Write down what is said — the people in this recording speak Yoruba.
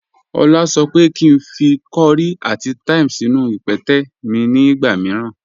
Ọla sọ pé kí n fí kọ̀ríì àti thyme sínú ìpẹtẹ̀ mi ni ìgba míìràn.